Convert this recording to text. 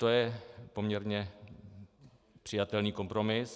To je poměrně přijatelný kompromis.